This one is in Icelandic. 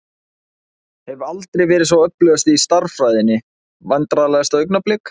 Hef aldrei verið sá öflugasti í stærðfræðinni Vandræðalegasta augnablik?